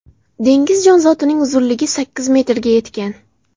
Dengiz jonzotining uzunligi sakkiz metrga yetgan.